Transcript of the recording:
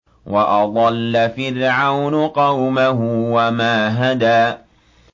وَأَضَلَّ فِرْعَوْنُ قَوْمَهُ وَمَا هَدَىٰ